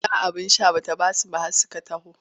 Ko ɗan abin sha ba ta ba su ba har suka taho.